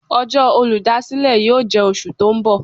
Ọjọ́ olúdásílè yóò jẹ́ oṣù tó ń bọ̀.